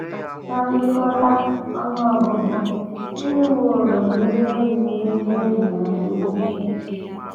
Ná ngụkọta, ọnụ ọgụgụ ndị nwụworonụ na ihe na ihe ndị e bibiri adịwo ukwuu.